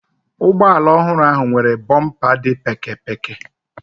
Ụgbọala ọhụrụ ahụ nwere bọmpa dị pékėpékė.